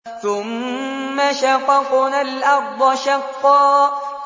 ثُمَّ شَقَقْنَا الْأَرْضَ شَقًّا